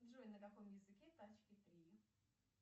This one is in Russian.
джой на каком языке тачки три